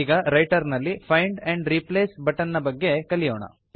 ಈಗ ರೈಟರ್ ನಲ್ಲಿ find and replace button ನ ಬಗ್ಗೆ ಕಲಿಯೋಣ